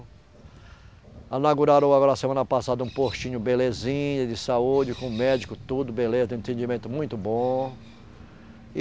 Inauguraram agora semana passada um postinho belezinha, de saúde, com médico, tudo beleza, tem atendimento muito bom.